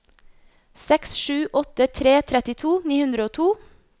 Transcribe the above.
seks sju åtte tre trettito ni hundre og to